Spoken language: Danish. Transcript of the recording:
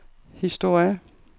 historie